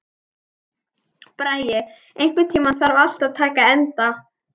Bragi, einhvern tímann þarf allt að taka enda.